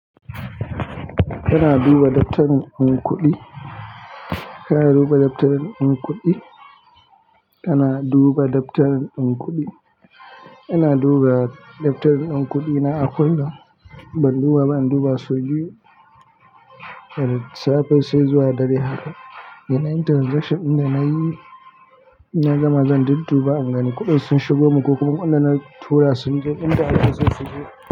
Ana duba daftarin kuɗi, ana duba daftarin kuɗi, ana duba daftarin kuɗi. Ina duba daftarin kuɗina a kullum. Ban duba ba, in duba sau biyu suwafin sai zuwa dare haka. Dana yi transaction da nayi, inna gama zan dudduba ingani kuɗin sun shigo mun ko kuma wanda na tura sun zo inda ake sun suje.